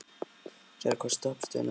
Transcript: Sera, hvaða stoppistöð er næst mér?